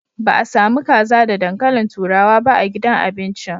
Ba a sami kaza da dankalin turawa ba a gidan abincin.